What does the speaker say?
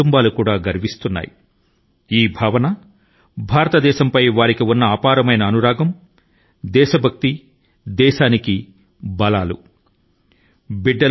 కుటుంబాలు తమ ధైర్యవంతులైన పుత్రుల అత్యున్నత త్యాగంపై అనుభూతి చెందే అంతర్గత భావన దేశం పట్ల వారి మనోభావం నిజమైన శక్తి ని దేశ శక్తి ని కలిగి ఉంది